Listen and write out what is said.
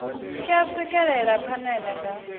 tshi a swikelela phanele nga